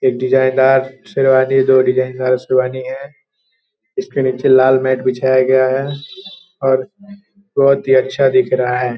एक डिज़ाइनर शेरवानी दो डिज़ाइन शेरवानी हैं इसके नीचे लाल मेट बिछाया गया हैं और बहोत ही अच्छा दिख रहा है।